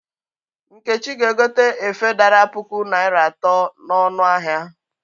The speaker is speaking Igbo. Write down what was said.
Nkechi ga-egote efe dara puku naịra atọ n'ọnụ ahịa.